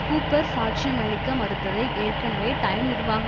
Cooper சாட்சியமளிக்க மறுத்ததை ஏற்கனவே டைம் நிர்வாக